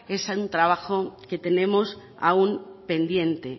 es un trabajo que tenemos aún pendiente